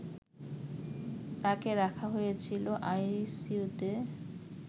তাকে রাখা হয়েছিল আইসিইউতে